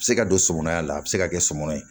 A bɛ se ka don somɔnɔya la a bɛ se ka kɛ somɔnɔ ye